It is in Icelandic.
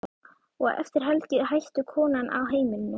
Og eftir helgi hætti konan á heimilinu.